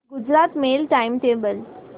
Gujarat mail time table